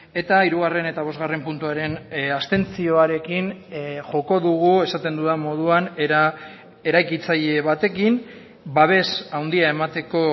eta hirugarren eta bosgarren puntuaren abstentzioarekin joko dugu esaten dudan moduan era eraikitzaile batekin babes handia emateko